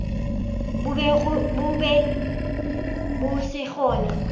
bo be bo se gona